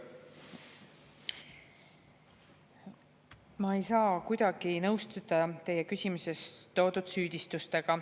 Ma ei saa kuidagi nõustuda teie küsimuses toodud süüdistustega.